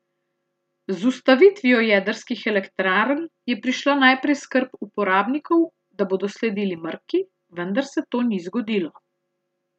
Z ustavitvijo jedrskih elektrarn je prišla najprej skrb uporabnikov, da bodo sledili mrki, vendar se to ni zgodilo.